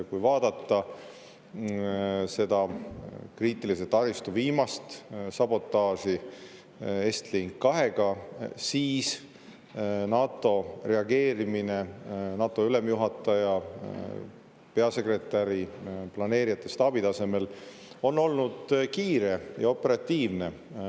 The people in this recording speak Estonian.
Kui vaadata seda kriitilise taristu viimast sabotaaži Estlink 2-ga, siis NATO reageerimine NATO ülemjuhataja, peasekretäri, planeerijate, staabi tasemel on olnud kiire ja operatiivne.